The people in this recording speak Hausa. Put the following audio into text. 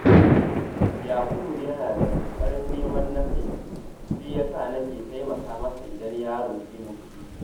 Yakubu yana da ƙoƙarin neman na kai, shi ya sa nake taimaka masa idan ya roƙe ni kuɗi